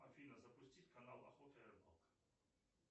афина запусти канал охота и рыбалка